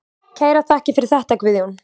Kærar þakkir fyrir þetta Guðjón.